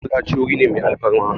Masallaci wuri ne mai alfarma